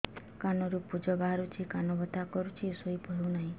କାନ ରୁ ପୂଜ ବାହାରୁଛି କାନ ବଥା କରୁଛି ଶୋଇ ହେଉନାହିଁ